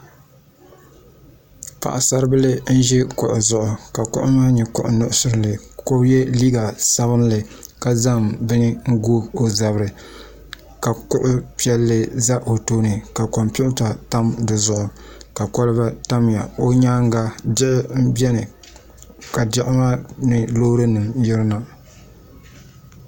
Paɣasaribili n ʒi kuɣu zuɣu ka kuɣu maa nyɛ kuɣu nuɣsili ka o yɛ liiga sabinli ka zaŋ bini n goo o zabiri ka kuɣu piɛlli ʒɛ o tooni ka kompiuta tam di zuɣu ka kolba tamya o nyaanga diɣi n biɛni ka diɣi maa ni Loori nim n yirina